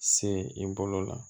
Se i bolo la